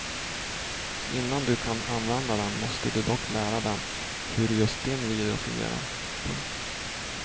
Innan du kan använda den måste du dock lära den hur just din video fungerar. punkt